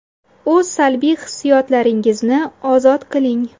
O‘z salbiy hissiyotlaringizni ozod qiling.